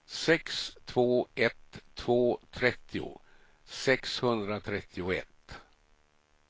sex två ett två trettio sexhundratrettioett